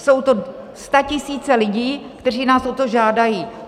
Jsou to statisíce lidí, kteří nás o to žádají.